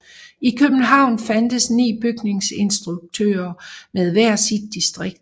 I København fandtes ni bygningsinspektører med hver sit distrikt